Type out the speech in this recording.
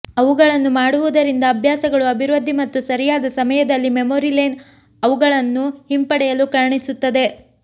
ಅವುಗಳನ್ನು ಮಾಡುವುದರಿಂದ ಅಭ್ಯಾಸಗಳು ಅಭಿವೃದ್ಧಿ ಮತ್ತು ಸರಿಯಾದ ಸಮಯದಲ್ಲಿ ಮೆಮೊರಿ ಲೇನ್ ಅವುಗಳನ್ನು ಹಿಂಪಡೆಯಲು ಕಾಣಿಸುತ್ತದೆ